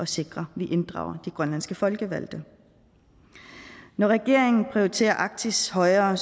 sikre at vi inddrager de grønlandske folkevalgte når regeringen prioriterer arktis højere